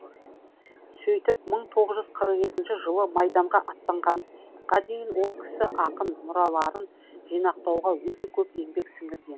сөйтіп мың тоғыз жүз қырық екінші жылы майданға аттанғанға дейін ол кісі ақын мұраларын жинақтауға өте көп еңбек сіңірген